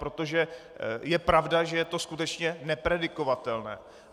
Protože je pravda, že je to skutečně nepredikovatelné.